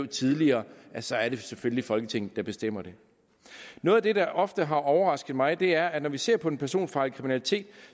tidligere så er det selvfølgelig folketinget der bestemmer det noget af det der ofte har overrasket mig er at når vi ser på den personfarlige kriminalitet